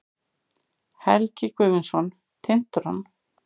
Helgi Guðmundsson, Tintron.